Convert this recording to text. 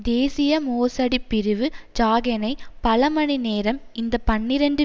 தேசிய மோசடிப் பிரிவு ஜாகெனை பல மணி நேரம் இந்த பனிரண்டு